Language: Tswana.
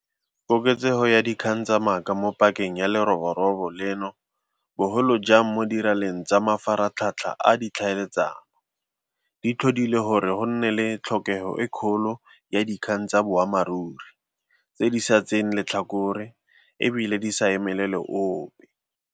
Koketsego ya dikgang tsa maaka mo pakeng ya leroborobo leno, bogolo jang mo diraleng tsa mafaratlhatlha a ditlhaeletsano, di tlhodile gore go nne le tlhokego e kgolo ya dikgang tsa boammaruri, tse di sa tseeng letlhakore e bile di sa emelele ope.